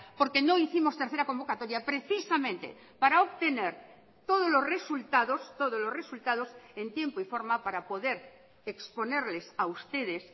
porque no hicimos tercera convocatoria precisamente para obtener todos los resultados todos los resultados en tiempo y forma para poder exponerles a ustedes